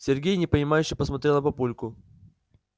сергей непонимающе посмотрел на папульку